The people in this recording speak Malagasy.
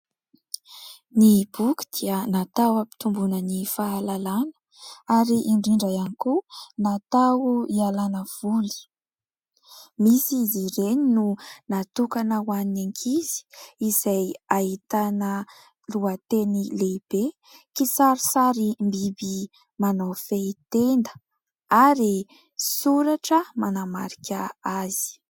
Ny boky dia natao hampitomboana ny fahalalana ary indrindra ihany koa natao hialana voly. Misy izy ireny no natokana ho an'ny ankizy izay ahitana lohateny lehibe. Kisarisarim-biby manao fehintenda ary soratra manamarika azy.